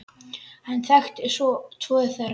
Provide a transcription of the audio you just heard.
Hann þekkti tvo þeirra.